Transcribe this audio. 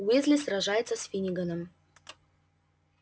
уизли сражается с финниганом